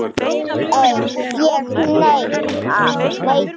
Ég neita.